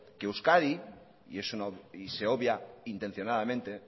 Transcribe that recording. que euskadi y se obvia intencionadamente